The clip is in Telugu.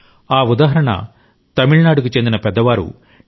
ఆ ఉదాహరణ తమిళనాడుకు చెందిన పెద్దవారు టి